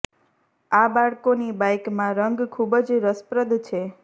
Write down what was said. આ બાળકોની બાઇક માં રંગ ખૂબ જ રસપ્રદ છે